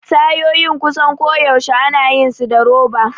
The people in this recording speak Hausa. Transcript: Tayoyin kusan koyaushe ana yin su da roba.